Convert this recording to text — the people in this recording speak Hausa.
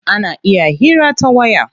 Ana iya hira ta waya.